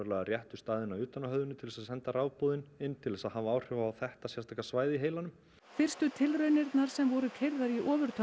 réttu staðina utan á höfðinu til að senda inn til að hafa áhrif á þetta sérstaka svæði í heilanum fyrstu tilraunirnar sem voru keyrðar í